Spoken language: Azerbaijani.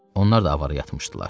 Onlar da avara yatmışdılar.